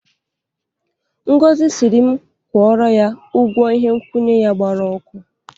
Ngozi sịrịm kwụọrọ ya ụgwọ ihe nkwụnye ya gbara ọkụ.